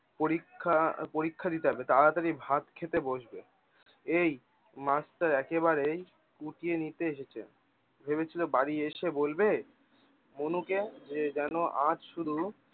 পরীক্ষা পরীক্ষা দিতে হবে তাড়াতাড়ি ভাত খেতে বসবে। এই মাছটার একেবারেই পুতিয়ে নিতে এসেছে ভেবেছিল বাড়ি এসে বলবে, যেন আজ শুধু